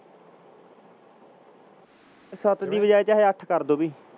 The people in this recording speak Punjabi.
ਸੱਤ ਦੀ ਬਜਾਏ ਚਾਹੇ ਅੱਠ ਕਰ ਦਓ ਵੀ